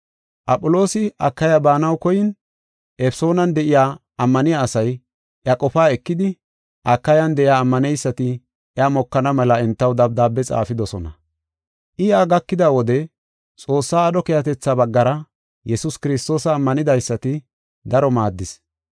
Aphiloosi Akaya baanaw koyin Efesoonan de7iya ammaniya asay iya qofaa ekidi Akayan de7iya ammaneysati iya mokana mela entaw dabdaabiya xaafidosona. I yaa gakida wode Xoossaa aadho keehatetha baggara Yesuus Kiristoosa ammanidaysata daro maaddis.